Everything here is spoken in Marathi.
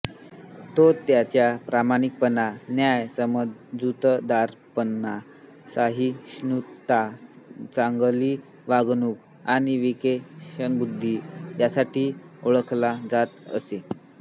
तो त्याच्या प्रामाणिकपणा न्याय समजूतदारपणा सहिष्णुता चांगली वागणूक आणि विवेकबुद्धी यासाठी ओळखला जात असे